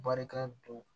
Barika don